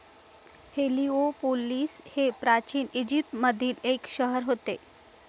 Heliopolis हे प्राचीन ईजिप्तमधील एक शहर होते